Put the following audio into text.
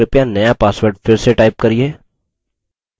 कृपया नया password फिर से type करिये